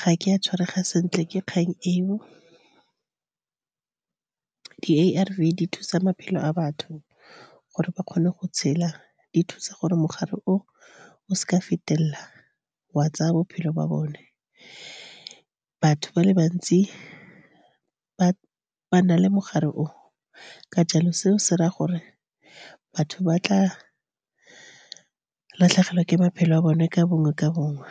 ga ke a tshwarega sentle ke kgang eo. A_R_V di thusa maphelo a batho gore ba kgone go tshela. Di thusa gore mogare o o seka wa fetelela, wa tsaya bophelo ba bone. Batho ba le bantsi ba na le mogare o. Ka jalo, seo se raya gore batho ba tla latlhegelwa ke maphelo a bone ka bongwe ka bongwe.